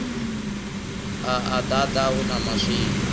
a a ḓaḓa huno maswina